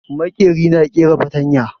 Maƙeri na ƙera fatarya